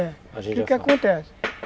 É. O que que acontece?